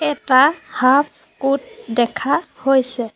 এটা half coat দেখা হৈছে।